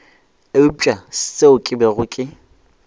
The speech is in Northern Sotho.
eupša seo ke bego ke